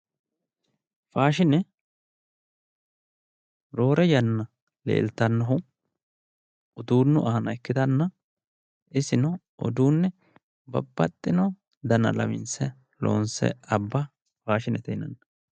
faashine roore yanna leeltannohu uduunnu aana ikkitanna iseno uduunne babbaxino dana lawinse loonse abba faashinete yinanni.